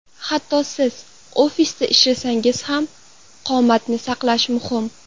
Hatto siz ofisda ishlasangiz ham, qomatni saqlash muhim.